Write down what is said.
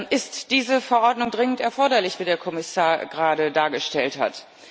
Ist diese Verordnung dringend erforderlich, wie der Kommissar gerade dargestellt hat?